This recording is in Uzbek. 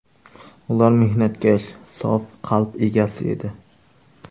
Ular mehnatkash, sof qalb egasi edi.